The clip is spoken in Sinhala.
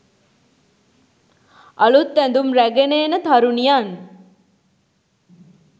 අලුත් ඇඳුම් රැගෙන එන තරුණියන්